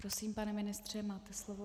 Prosím, pane ministře, máte slovo.